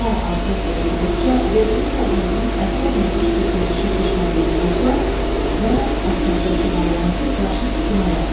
Hər abzası oxuduqca verdiyin proqnozun əsərlə üst-üstə düşüb düşmədiyini yoxla və əsərdəki variantı qarşı sütuna yaz.